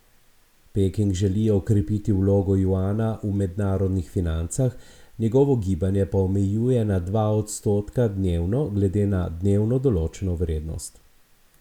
Peking želi okrepiti vlogo juana v mednarodnih financah, njegovo gibanje pa omejuje na dva odstotka dnevno glede na dnevno določeno vrednost.